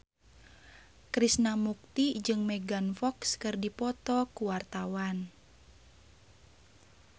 Krishna Mukti jeung Megan Fox keur dipoto ku wartawan